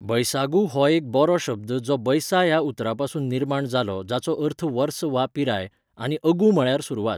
बैसागु हो एक बोरो शब्द जो बैसा ह्या उतरापसून निर्माण जालो जाचो अर्थ वर्स वा पिराय, आनी अगु म्हळ्यार सुरवात.